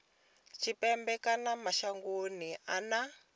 tshipembe kana mashangoni a nnḓa